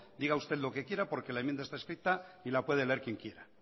diga usted lo que quiere porque la enmienda está escrito y la puede leer quien quiera